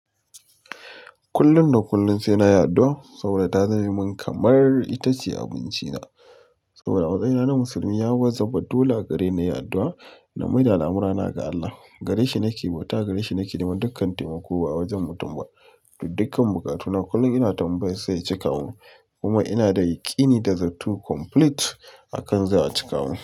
Kullum da kullum sai na yi addu'a adu'a, saboda ta zamemin kamar ita ce abinci na. Saboda a matsayina na musulmi ya wajaba dole a gare ni na yi addu'a, na mai da al'amurana ga Allah. Gareshi nake bauta, gareshi nake neman dukkan taimako ba wajen mutum ba dukkan bukatuna kullum ina tambayansa ya cika mun. Kuma ina da yakini da zato complete akan za a cika mun.